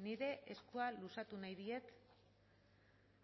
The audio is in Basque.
nire eskua luzatu nahi diet